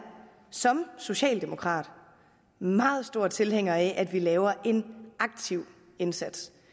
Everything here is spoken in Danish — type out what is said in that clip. som socialdemokrat meget stor tilhænger af at vi laver en aktiv indsats